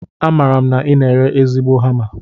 Amaara m na I na-ere ezigbo hama